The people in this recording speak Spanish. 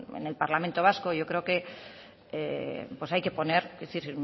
en el parlamento vasco yo creo que hay que poner